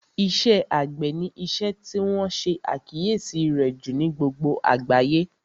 Iṣẹ́ àgbẹ̀ ni isẹ́ tí wọ́n ṣe àkíyèsí rẹ̀ jù ní gbogbo àgbáyé